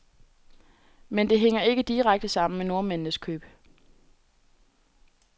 Men det hænger ikke direkte sammen med nordmændenes køb.